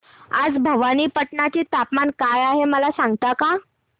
आज भवानीपटना चे तापमान काय आहे मला सांगता का